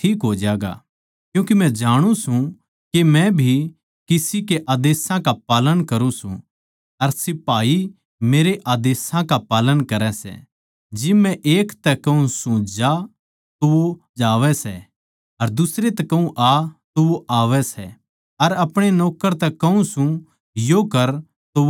क्यूँके मै जाणु सूं के मै भी किसी के आदेशां का पालन करुँ सूं अर सिपाही मेरै आदेशां का पालन करै सै जिब मै एक तै कहूँ सूं जा तो वो जावै सै अर दुसरे तै आ तो वो आवै सै अर अपणे नौक्कर तै कहूँ सूं यो कर तो वो करै सै